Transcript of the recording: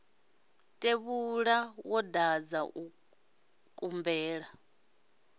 tevhula wo dadza u kumbela